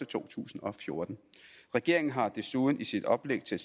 to tusind og fjorten regeringen har desuden i sit oplæg til